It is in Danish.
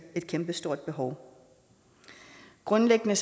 et kæmpe stort behov grundlæggende